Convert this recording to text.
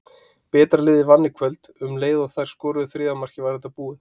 Betra liðið vann í kvöld, um leið og þær skoruðu þriðja markið var þetta búið.